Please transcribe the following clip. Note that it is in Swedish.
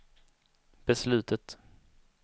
beslutet